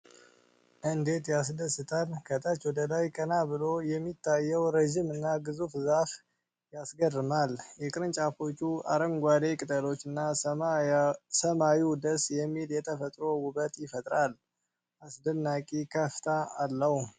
እንዴት ያስደስታል! ከታች ወደ ላይ ቀና ብሎ የሚታየው ረጅምና ግዙፍ ዛፍ ያስገርማል። የቅርንጫፎቹ አረንጓዴ ቅጠሎችና ሰማዩ ደስ የሚል የተፈጥሮ ውበት ፈጥረዋል። አስደናቂ ከፍታ አለው።